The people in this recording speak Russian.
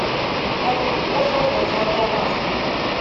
афина кто создал золотая маска